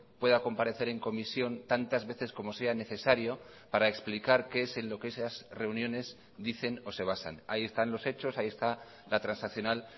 pueda comparecer en comisión tantas veces como sea necesario para explicar qué es en lo que esas reuniones dicen o se basan ahí están los hechos ahí está la transaccional